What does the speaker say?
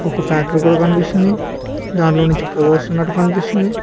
ఒక ఫ్యాక్టరీ గూడ కనిపిస్తుంది దాంట్లో నుంచి పొగ వస్తున్నట్టు కనిపిస్తుంది.